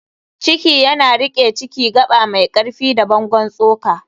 ciki yana riƙe Ciki: Gaba mai ƙarfi da bangon tsoka.